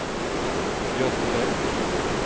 Göte Bäck